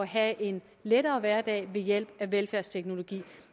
have en lettere hverdag ved hjælp af velfærdsteknologi